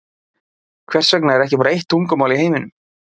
Hvers vegna er ekki bara eitt tungumál í heiminum?